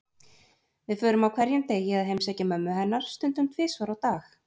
Við förum á hverjum degi að heimsækja mömmu hennar, stundum tvisvar á dag.